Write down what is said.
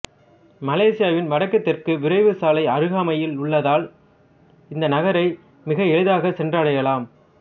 மலேசியாவின் வடக்குதெற்கு விரைவுசாலை அருகாமையில் உள்ளதால் இந்த நகரை மிக எளிதாகச் சென்றடையலாம்